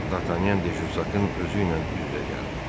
Dartanyan De Jussakın özü ilə üz-üzə gəldi.